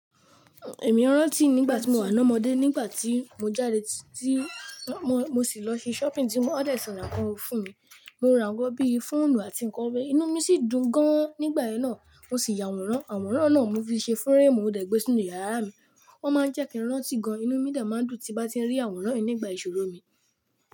Èmi rán tí nígbà tí mo wà lọ́mọdé, nígbà tí mo jáde ti, mo sì lọ ṣi shopping tí wón dẹ si ran nkan fún mi. Mo ra àwọn bí i fóònù àti nǹkan ọ̀bẹ. Inú mí sì dùn gan nígbà yẹn náà, mo sì yàwòrán, àwòrán náà mo fi ṣe frame mo dẹ̀ gbé sínu yàrá mi. Wọ́n máa ń jẹ́ kí n rán tí gan, inú mí dẹ máa ń dùn tí n bá ti rí àwòrán yìí nígbà ìṣòro mi.